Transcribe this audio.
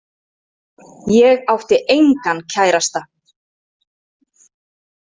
Ég átti engan kærasta.